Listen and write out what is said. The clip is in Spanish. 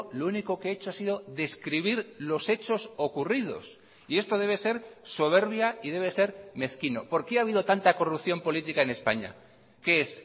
lo único que he hecho ha sido describir los hechos ocurridos y esto debe ser soberbia y debe ser mezquino por qué ha habido tanta corrupción política en españa qué es